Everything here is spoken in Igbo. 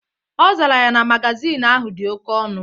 Ọ zara ya na magazin ahụ dị oke ọnụ.